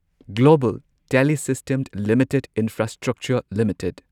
global telesystem limited infrastructure limited